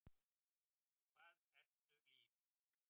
Hvað ertu líf?